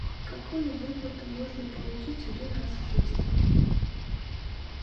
какую выплату можно получить один раз в жизни